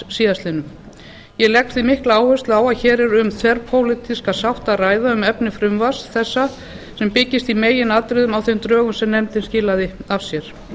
síðastliðinn ég legg því mikla áherslu á að hér er um þverpólitíska sátt að ræða um efni frumvarps þessa sem byggist í meginatriðum á þeim drögum sem nefndin skilaði af sér